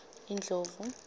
indlovu